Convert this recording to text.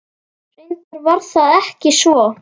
Reyndar var það ekki svo.